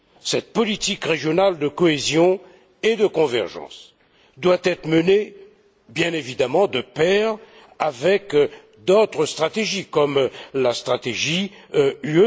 Cette politique régionale de cohésion et de convergence doit être menée bien évidemment de pair avec d'autres stratégies, comme la stratégie UE